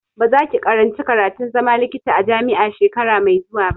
Ba za ki karanci karatun zama likita a jami'a shekara mai zuwa ba!